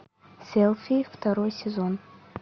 селфи второй сезон